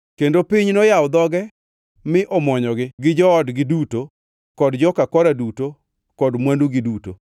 kendo piny noyawo dhoge mi omwonyogi, gi joodgi duto kod joka Kora duto kod mwandugi duto.